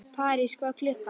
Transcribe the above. París, hvað er klukkan?